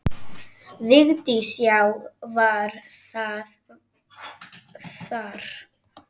Vigdís: Já, var það þar.